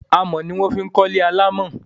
Amọ̀ ni wọ́n fi kọ́ ilé alámọ̀